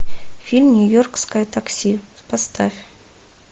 фильм нью йоркское такси поставь